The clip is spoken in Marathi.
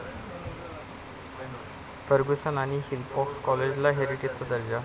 फर्ग्युसन आणि हिस्लॉप कॉलेजला 'हेरिटेज'चा दर्जा